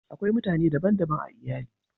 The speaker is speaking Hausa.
Akwai mutane dban daban a iyali